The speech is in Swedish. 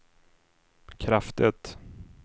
kraftigt